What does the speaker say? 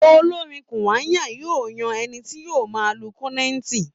Olórí Kúwàyà máa yan ẹni tí yóò máa lu kọ́nẹ́ẹ̀tì